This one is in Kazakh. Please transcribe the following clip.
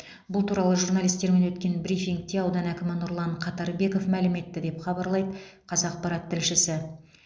бұл туралы журналистермен өткен брифингте аудан әкімі нұрлан қатарбеков мәлім етті деп хабарлайды қазақпарат тілшісі